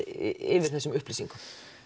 yfir þessum upplýsingum